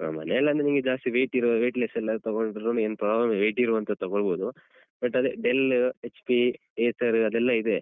ಹ ಮನೆಯಲ್ಲಾದ್ರೆ ನಿಮ್ಗೆ ಜಾಸ್ತಿ weight ಇರೋ weight less ಎಲ್ಲ ತಗೋಳ್ಳುದ್ರುನೂ ಏನ್ problem ಇಲ್ಲ weight ಇರುವಂತದ್ ತಗೋಳ್ಬೋದು. but ಅದೇ, Dell, HP, Acer ಅದೆಲ್ಲ ಇದೆ